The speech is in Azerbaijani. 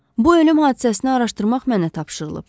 Bu ölüm hadisəsini araşdırmaq mənə tapşırılıb.